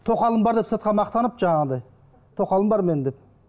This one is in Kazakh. тоқалым бар деп сыртқа мақтанып жаңағындай тоқалым бар менің деп